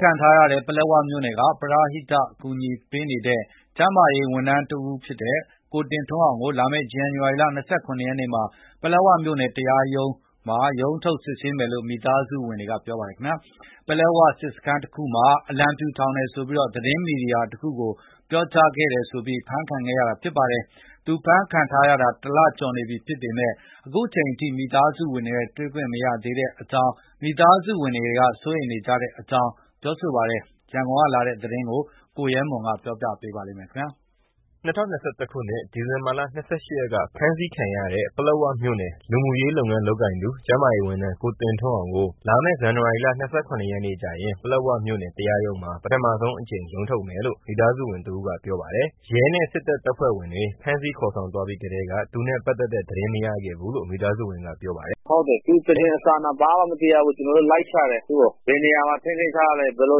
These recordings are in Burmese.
ခံထားရတဲ့ ပလက်ဝမြို့နယ်က ပရဟိတအကူအညီပေးနေတဲ့ ကျန်းမာရေးဝန်ထမ်း ကိုတင်ထွန်းအောင်ကို လာမယ့် ဇန်နဝါရီလ ၂၇ရက်နေ့မှာ ပလက်ဝမြို့ နယ် တရားရုံးမှာ စတင်ရုံးထုတ်မယ်လို့ မိသားစုဝင်တွေက ပြောပါတယ်။ ပလက်ဝစစ်စခန်းတခုမှာ အလံဖြူထောင်တယ်ဆိုပြီး သတင်းမီဒီယာတခုကို ပြောကြားခဲ့ပြီးနောက် ဖမ်းဆီးခံရတာပါ။ သူဖမ်းခံထားရတာ ၁ လကျော်နေပြီဖြစ်ပေမဲ့ အခုချိန်ထိ မိသားစုဝင်တွေနဲ့ တွေခွင့်မရသေးတာကြောင့် မိသားစုဝင်တွေက စိုးရိမ်နေကြတဲ့အကြောင်း ရန်ကုန်က လာတဲ့ သတင်းကို ကိုရဲမွန်က တင်ပြမှာပါ။ ၂၀၂၁ ခုနှစ် ဒီဇင်ဘာလ ၂၈ ရက်က ဖမ်းဆီးခံရတဲ ပလက်ဝမြို့နယ် လူမှုရေး လုပ်ငန်းလုပ်ကိုင်သူ ကျန်းမာရေးဝန်ထမ်း ကိုတင်ထွန်းအောင်ကို လာမယ့် ဇန်နဝါရီလ ၂၇ ရက်နေ့ကျရင် ပလက်ဝမြို့ နယ် တရားရုံးမှာ ပထမဆုံးရုံးထုတ်မယ်လို့ မိသားစုဝင်တစ်ဦးက ကပြောပါတယ်။ ရဲနဲ့ စစ်တပ်တပ်ဖွဲ့ဝင်တွေ ဖမ်းဆီးခေါ်ဆောင်သွားပြီးထဲက သူနဲ့ပါတ်သက်တဲ့ သတင်းမရခဲ့ဘူးလို့ မိသားစုဝင်ကပြောပါတယ်။ “သူ့သတင်းအစအန ဘာမှမသိရဘူး ကျနော်တို့လိုက်ရှာတယ်သူ့ကို ဘယ်နေရာမှာ ထိန်း သိမ်းထားလည်း ဘယ်လို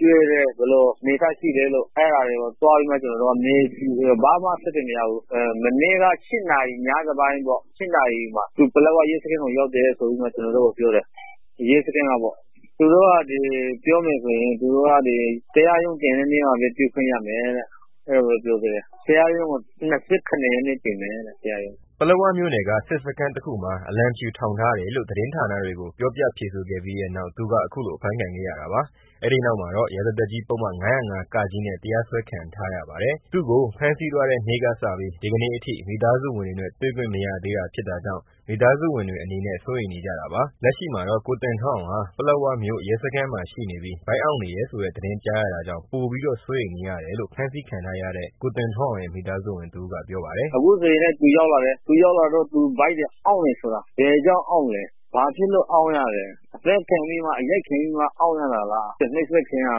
ကျွေးတယ်၊ ဘယ်အနေအထားရှိလည်းလို့ အဲတာကို သွားပြီးမှ ကျ နော်တို့က မေးကြည့်တယ်။ ဘာမှ အဆက်အသွယ်မရဘူး မနေ့က ညနေပိုင်း ၈နာရီမှာ ပလက်ဝရဲစခန်းကို ရောက်တယ်လို့ ရဲစခန်းက ကျနော်တို့ကို ပြောတယ်။ သူတို့က ပြောမယ် ဆိုရင် တရားရုံးတင်တဲ့ နေ့မှာပဲ တွေ့ရမယ်လို့ ပြောတယ်၊တရားရုံးကို ၂၇ရက်နေ့ တင်မယ်တဲ့။ ” ပလက်ဝမြို့နယ်က စစ်စခန်းတခုမှာ အလံဖြူထောင်ထားတယ်လို့ သတင်းဌာနတွေကို ပြောပြ ဖြေဆိုခဲ့ပြီးနောက် သူအဖမ်းခံရတာပါ။ အဲဒီနောက် လုပ်ဆောင်မှု ရာဇသတ်ကြီးပုဒ်မ ၅၀၅-ကနဲ့ တရားစွဲခံရပါတယ်။ ကိုတင်အောင်ကို ဖမ်းဆီးသွားတဲ့ နေ့ကစပြီး ဒီကနေ့အထိ မိသားစုဝင်တွေနဲ့ တွေ့ခွင့် မရသေး တာဖြစ်တာကြောင့် မိသားစုဝင်တွေ အနေနဲ့ စိုးရိမ်နေကြတာပါ။ လက်ရှိမှာတော့ ကိုတင်ထွန်းအောင်ဟာ ပလက်ဝမြို့မရဲစခန်းမှာ ရှိနေပြီး ဗိုက်အောင့်နေတယ်ဆိုတဲ့ သတင်းကြားရတာကြောင့် ပိုပြီးတော့ စိုးရိမ်နေရတယ်လို့ ဖမ်းဆီးခံထားရတဲ့ ကိုတင်ထွန်းအောင်ရဲ့ မိသားစုဝင်တစ်ဦးကပြောပါတယ်။ “အခုဆိုရင် သူဗိုက်တွေ အောင့်နေတယ်၊ ဘာကြောင့်အောင့်လည်း ဘာဖြစ်လို့အောင့် တာ လည်း အသတ်ခံပြီး အရိုက်ခံပြီးမှ အောင့်ရတာလား နိုပ်စက်ခံရတာ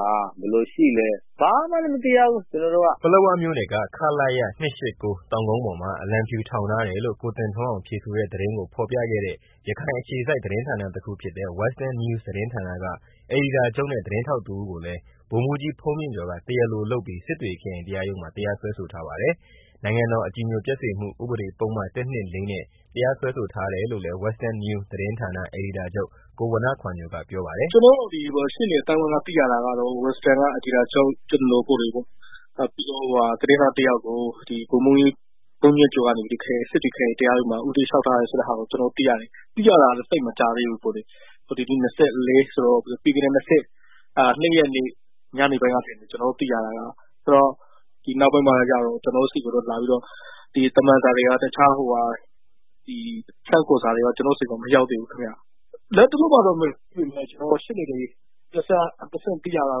လား ဘယ်လိုရှိလည်း ဘာမှလည်းမသိရဘူး။” ပလက်ဝမြို့နယ်က ခလရ ၂၈၉ တောင်ကုန်းပေါ်မှာ အလံဖြူထောင်ထားတယ်လို့ ကိုတင်ထွန်းအောင်ဖြေဆိုတဲ့ သတင်းကိုဖော်ပြတဲ့ ရခိုင်အခြေစိုက် သတင်းဌာနတစ်ခုဖြစ်တဲ့ Western Newsသတင်းဌာနာက အယ်ဒီတာချုပ်နဲ့ သတင်းထောက်တစ်ဦးကိုလည်းဗိုလ်မှူးကြီး ဘုန်းမြင့်ကျော်က တရားလိုလုပ်ပြီး စစ်တွေခရိုင်တရားရုံးမှာတရားစွဲထားပါတယ်။ နိုင်ငံတော်အကြည်ညိုပျက်စေမှု ဥပဒေပုဒ်မ ၁၂၄ နဲ့ တရားစွဲဆိုထားတယ်လို့လည်း Western News သတင်းဌာန အေဒီတာချုပ် ကိုဝဏ္ဏခွာညိုကပြောပါတယ်။ “ကျနော်တို့ ရှေ့နေ အသိုင်းအိဝိုင်းက သိရတာကတော့ Westernက အယ်ဒီတာချုပ် ကျနော်ကိုယ်တိုင်ပေါ့ ပြီးတော့ သတင်းထောက် တစ်ယောက်ကို ဗိုလ်မှူးကြီး ဘုန်းမြင့် ကျော်ကနေပြီးတော့ စစ်တွေခရိုင်တရားရုံးမှာ ဦးတိုက်လျောက်ထားတယ်ဆိုတဲ့ ဟာကို ကျနော်တို့ သိရတယ်၊ သိရတာလည်းသိပ်မကြာသေးဘူး၊ ဒီနေ့က ၂၄ဆိုတော့ ၂၂ရက်နေ့ကသိရတာပေါ့လေ၊ ဒီနောက်ပိုင်းမှာတော့ ကျနော်တို့ဆီကို သမန်စာတွေ တစ်ခြားဆင့်ခေါ်စာတွေ ကျနော်ဆီကို မရောက်သေးဘူးခင်မျာ၊ လတ်တလော ရှေ့နေတွေ ဆီက သိရတာက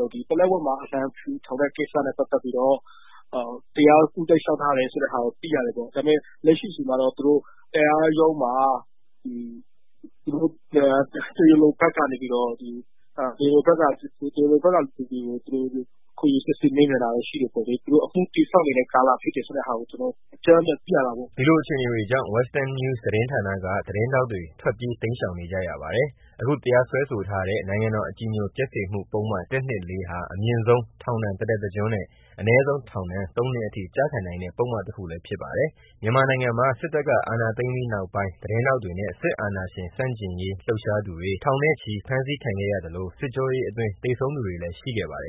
တော့ ပလက်ဝမှာ အလံဖြူထောင်တယ်ဆိုတဲ့ ကိစ္စနဲ့ ပတ်သတ်ပြီး ဦးတိုက်လျောက်ထားတယ်ဆိုတာ တော့ သိရတယ်။ လက်ရှိအချိန်မှာတော့ သူတို့ တရားရုံးမှာ တရားလိုဖက်ကလူတွေကို ခေါ်ယူစစ်ဆေးမေးမြန်းတာ ရှိတယ်ပေါ့လေ သူတို့အမှုတည်ဆောက်နေတဲ့ ကာလဖြစ်တယ်ဆိုတာကို ကျနော်တို့ အကြမ်းဖြင်း သိရတာပေါ့။” ဒီလိုအခြေအနေကြောင့် Western News သတင်းဌာနာက သတင်းထောက်တွေ ထွက်ပြေးတိမ် ရှောင်နေကြပါတယ်။ အခုတရားစွဲဆိုထားတဲ့ နိုင်ငံတော်အကြည်ညိုပျက်စေမှုပုဒ်မ ၁၂၄ဟာ အမြင့် ထောက်ဒဏ် တစ်သက်တစ်ကျွန်းနဲ့ အနည်းဆုံးထောင်ဒဏ် သုံးနှစ်အထိ ကျခံနိုင်တဲ့ ပုဒ်မတစ်ခုလည်းဖြစ်ပါတယ်။ မြန်မာနိုင်ငံမှာ စစ်တပ်က အာဏာသိမ်းပြီးနောက်ပိုင်း သတင်းထောက်တွေနဲ့ စစ်အာဏာရှင်ဆန့်ကျင်လှုပ်ရှားသူတွေ ထောင်နဲ့ချီဖမ်းဆီးခံခဲရ သလိုစစ်ကြောရေးအတွင်း သေဆုံးသူတွေလည်း ရှိခဲ့ပါတယ်